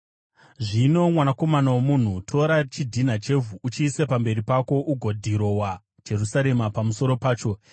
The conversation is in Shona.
“Zvino, Mwanakomana womunhu, tora chidhina chevhu, uchiise pamberi pako ugodhirowa Jerusarema pamusoro pacho.